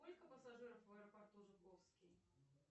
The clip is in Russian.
сколько пассажиров в аэропорту жуковский